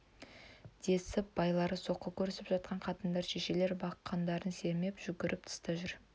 десіп байлары соққы көрісіп жатқан қатындар шешелер бақандарын сермеп жүгіріп тыста жүр